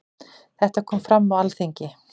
Þetta kom fram á Alþingi.